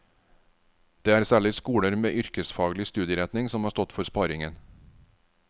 Det er særlig skoler med yrkesfaglig studieretning som har stått for sparingen.